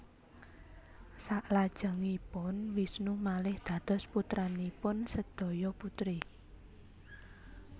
Saklajengipun Wisnu malih dados putranipun sedaya putri